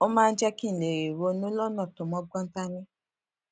ó máa ń jé kí n lè ronú lónà tó mógbón dání